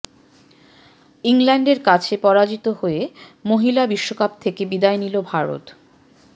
ইংল্যান্ডের কাছে পরাজিত হয়ে মহিলা বিশ্বকাপ থেকে বিদায় নিল ভারত